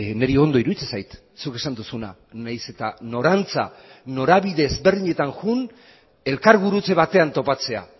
niri ondo iruditzen zait zuk esan duzuna nahiz eta norantza norabide ezberdinetan joan elkargurutze batean topatzea